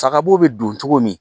Sagabo bɛ don cogo min